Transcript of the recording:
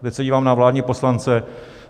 Teď se dívám na vládní poslance.